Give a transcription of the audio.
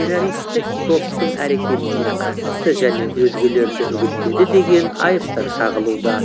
террористік топтың әрекетіне қатысты және өзгелерді үгіттеді деген айыптар тағылуда